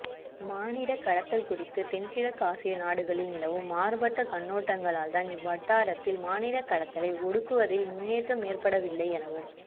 மானிடக் கடத்தல் குறித்து தென்கிழக்காசிய நாடுகளில் நிலவும் மாறுபட்ட கண்ணோட்டங்களால்தான் இவ்வட்டாரத்தில் மானிடக்கடத்தலை ஒடுக்குவதில் முன்னேற்றம் ஏற்படவில்லை எனவும்